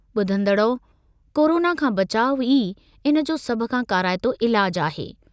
ॿुधंदड़ो, corona खां बचाउ ई इन जो सभ खां काराइतो इलाजु आहे।